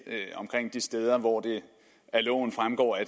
omkring de steder hvor det af loven fremgår at